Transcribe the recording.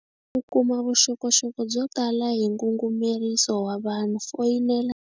Ku kuma vuxokoxoko byo tala hi ngungumeriso wa vanhu foyinela.